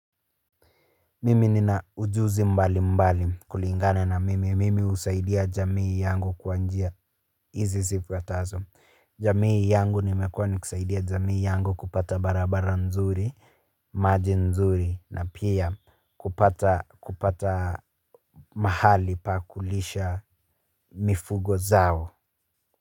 Mimi nina ujuzi mbalimbali kulinga na mimi. Mimi husaidia jamii yangu kwa njia izi zifuatazo. Jamii yangu nimekuwa ni kusaidia jamii yangu kupata barabara nzuri, maji nzuri na pia kupata kupata mahali pa kulisha mifugo zao.